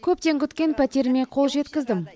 көптен күткен пәтеріме қол жеткіздім